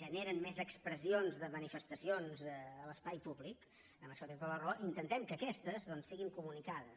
generen més expressions de manifestacions a l’espai públic en això té tota la raó intentem que aquestes siguin comunicades